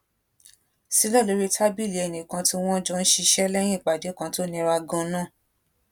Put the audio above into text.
sílè lórí tábìlì ẹnì kan tí wón jọ ń ṣiṣé léyìn ìpàdé kan tó nira ganan